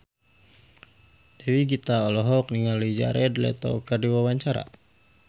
Dewi Gita olohok ningali Jared Leto keur diwawancara